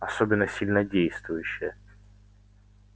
особенно сильнодействующие